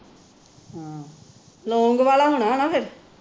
ਲੌਂਗ ਵਾਲਾ ਹੋਣਾ ਫੇਰ